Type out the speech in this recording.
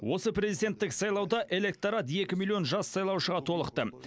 осы президенттік сайлауда электорат екі миллион жас сайлаушыға толықты